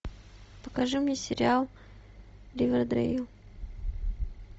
покажи мне сериал ривердэйл